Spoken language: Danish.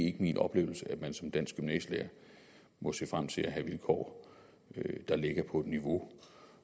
ikke min oplevelse at man som dansk gymnasielærer må se frem til at have vilkår der ligger på et niveau